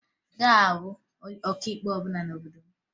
Ị gaghị ahụ onye ọkaikpe ọbụla n'obodo m